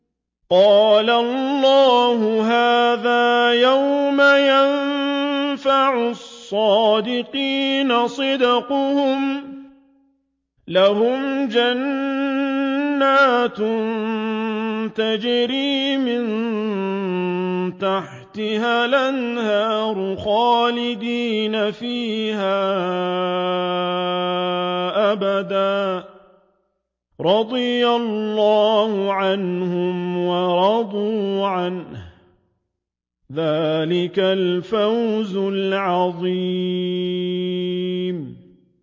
قَالَ اللَّهُ هَٰذَا يَوْمُ يَنفَعُ الصَّادِقِينَ صِدْقُهُمْ ۚ لَهُمْ جَنَّاتٌ تَجْرِي مِن تَحْتِهَا الْأَنْهَارُ خَالِدِينَ فِيهَا أَبَدًا ۚ رَّضِيَ اللَّهُ عَنْهُمْ وَرَضُوا عَنْهُ ۚ ذَٰلِكَ الْفَوْزُ الْعَظِيمُ